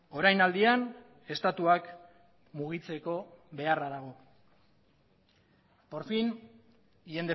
orainaldian estatuak mugitzeko beharra dago por fin y